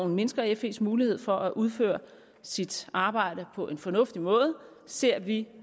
mindsker fes mulighed for at udføre sit arbejde på en fornuftig måde ser vi